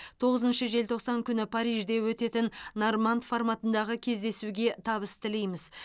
тоіызыншы желтоқсан күні парижде өтетін норманд форматындағы кездесуге табыс тілейміз